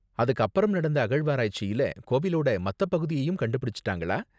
அதுக்கு அப்பறம் நடந்த அகழ்வாராய்ச்சில கோவிலோட மத்த பகுதியையும் கண்டுபிடிச்சுட்டாங்களா?